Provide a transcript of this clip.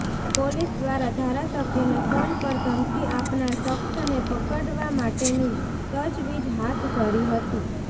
police દ્વારા ધારાસભ્યને phone પર ધમકી આપનાર શખ્સને પકડવા માટેની તજવીજ હાથ ધરી હતી